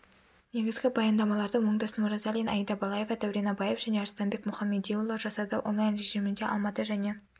негізгі баяндамаларды оңдасын оразалин аида балаева дәурен абаев және арыстанбек мұхамедиұлы жасады онлайн режимінде алматы және